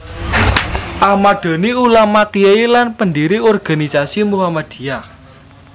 Ahmad Dahlan Ulama Kyai lan pendiri organisasi Muhammadiyah